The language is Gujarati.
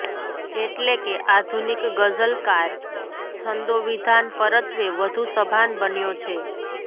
એટલે કે આધુનિક ગઝલકાર છંદોવિધાન પરત્વે વધુ સભાન બન્યો છે